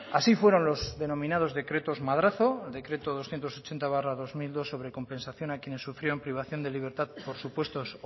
así fueron los denominados decretos madrazo el decreto doscientos ochenta barra dos mil dos sobre compensación a quienes sufrieron privación de libertad por supuestos